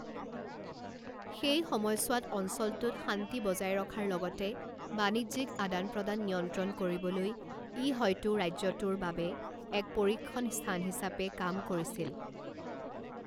সেই সময়ছোৱাত অঞ্চলটোত শান্তি বজাই ৰখাৰ লগতে বাণিজ্যিক আদান প্ৰদান নিয়ন্ত্ৰণ কৰিবলৈ ই হয়তো ৰাজ্যটোৰ বাবে এক পৰীক্ষন স্থান হিচাপে কাম কৰিছিল।